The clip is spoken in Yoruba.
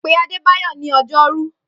Pe Adébáyọ̀ ní ọjọ́rú.